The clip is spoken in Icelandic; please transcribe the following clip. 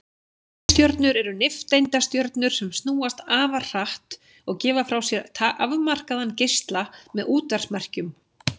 Tifstjörnur eru nifteindastjörnur sem snúast afar hratt og gefa frá sér afmarkaðan geisla með útvarpsmerkjum.